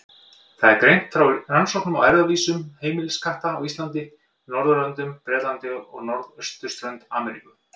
Þar er greint frá rannsóknum á erfðavísum heimiliskatta á Íslandi, Norðurlöndum, Bretlandi og norðausturströnd Ameríku.